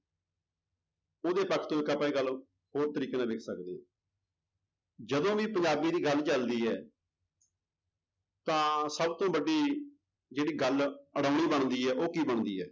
ਉਹਦੇ ਹੋਰ ਤਰੀਕੇ ਨਾਲ ਵੇਖ ਸਕਦੇ ਹਾਂ ਜਦੋਂ ਵੀ ਪੰਜਾਬੀ ਦੀ ਗੱਲ ਚੱਲਦੀ ਹੈ ਤਾਂ ਸਭ ਤੋਂ ਵੱਡੀ ਜਿਹੜੀ ਗੱਲ ਬਣਦੀ ਹੈ ਉਹ ਕੀ ਬਣਦੀ ਹੈ।